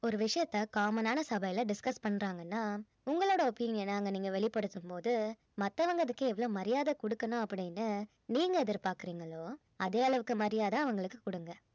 ஒரு விஷயத்தை common ஆன சபையில disscus பண்றாங்கன்னா உங்களோட opinion அ அங்க நீங்க வெளிப்படுத்தும் போது மத்தவங்க அதுக்கு எவ்ளோ மரியாதை குடுக்கணும் அப்படின்னு நீங்க எதிர்பார்க்கறீங்களோ அதே அளவுக்கு மரியாதை அவங்களுக்கு குடுங்க